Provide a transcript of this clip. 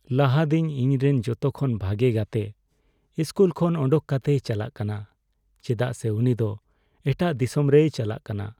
ᱞᱟᱦᱟ ᱫᱤᱱ ᱤᱧᱨᱮᱱ ᱡᱚᱛᱚ ᱠᱷᱚᱱ ᱵᱷᱟᱜᱮ ᱜᱟᱛᱮ ᱤᱥᱠᱩᱞ ᱠᱷᱚᱱ ᱚᱰᱚᱠ ᱠᱟᱛᱮᱭ ᱪᱟᱞᱟᱜ ᱠᱟᱱᱟ ᱪᱮᱫᱟᱜ ᱥᱮ ᱩᱱᱤ ᱫᱚ ᱮᱴᱟᱜ ᱫᱤᱥᱚᱢ ᱨᱮᱭ ᱪᱟᱞᱟᱜ ᱠᱟᱱᱟ ᱾